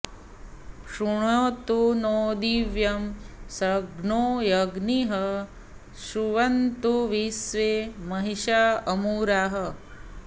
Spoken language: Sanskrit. शृणोतु नो दैव्यं शर्धो अग्निः शृण्वन्तु विश्वे महिषा अमूराः